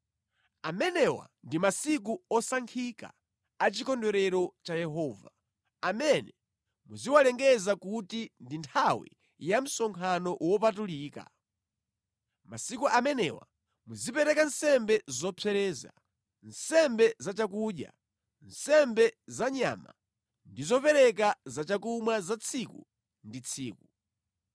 (“ ‘Amenewa ndi masiku osankhika a chikondwerero cha Yehova, amene muziwalengeza kuti ndi nthawi ya msonkhano wopatulika. Masiku amenewa muzipereka nsembe zopsereza, nsembe za chakudya, nsembe zanyama ndi zopereka zachakumwa za tsiku ndi tsiku.